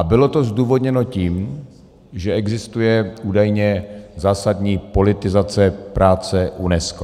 A bylo to zdůvodněno tím, že existuje údajně zásadní politizace práce UNESCO.